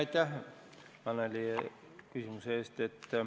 Aitäh, Annely, küsimuse eest.